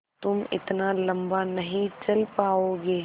तुम इतना लम्बा नहीं चल पाओगे